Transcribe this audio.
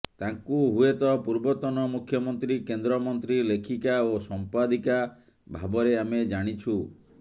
ତାଙ୍କୁ ହୁଏତ ପୂର୍ବତନ ମୁଖ୍ୟମନ୍ତ୍ରୀ କେନ୍ଦ୍ରମନ୍ତ୍ରୀ ଲେଖିକା ଓ ସମ୍ପାଦିକା ଭାବରେ ଆମେ ଜାଣିଛୁ